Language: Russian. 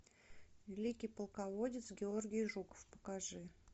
великий полководец георгий жуков покажи